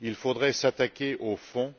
Il faudrait s'attaquer au fond